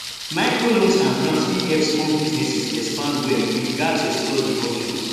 microloans and grants fit help small businesses expand well we gats explore di options